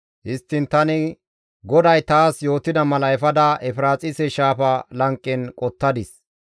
Histtiin tani GODAY taas yootida mala efada Efiraaxise Shaafa lanqen qottadis.